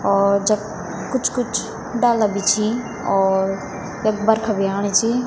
और जख कुछ-कुछ डाला भी छी और यख बरखा भी आणि च।